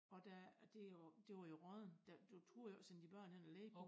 Og der og det jo det var jo råddent der du turde jo ikke sende dine børn over og lege på det